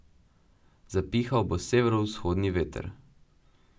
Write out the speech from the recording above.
Zapihal bo severovzhodni veter.